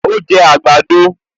Ó jẹ àgbàdo